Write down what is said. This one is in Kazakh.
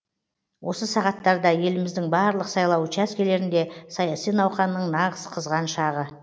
осы сағаттарда еліміздің барлық сайлау учаскелерінде саяси науқанның нағыз қызған шағы